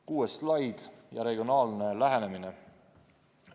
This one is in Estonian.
Kuues slaid: regionaalne lähenemine.